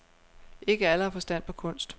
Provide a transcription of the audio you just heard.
Ikke alle har forstand på kunst.